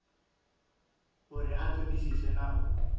uri a ṱoḓisise na u